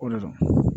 O de la